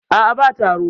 a a ba taro